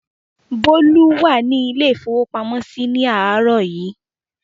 Bólú wà ní ilé-ìfowópamọ́sí ní àárọ̀ yìí.